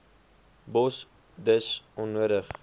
bos dis onnodig